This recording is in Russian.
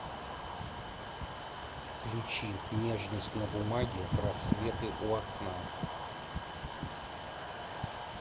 включи нежность на бумаге рассветы у окна